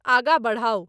आँगा बढ़ाऊ